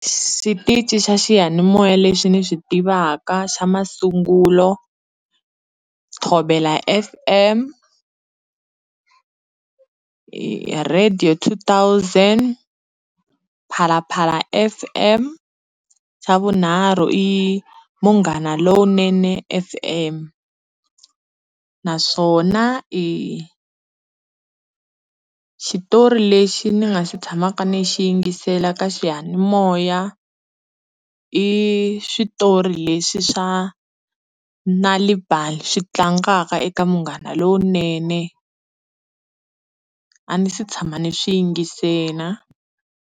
Xitichi xa xiyanimoya lexi ni xi tivaka xa masungulo, Thobela F_M Radio 2000, PhalaPhala F_M, xa vunharhu i Munghana lowunene F_M naswona i xitori lexi ni nga xi tshamaka ni xi yingisela ka xiyanimoya i switori leswi swa Nalibali swi tlangaka eka Munghana lowunene a ni se tshama ni swi yingisela.